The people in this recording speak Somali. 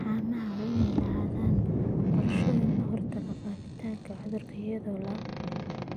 Haamaha waa inay lahaadaan qorshooyin looga hortagayo faafitaanka cudurka iyadoo la